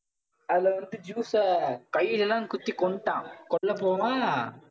அதுல வந்து கையிலலாம் குத்தி கொன்னுட்டான். கொல்ல போவான்